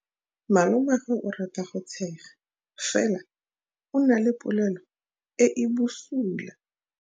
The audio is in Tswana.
Malomagwe o rata go tshega fela o na le pelo e e bosula.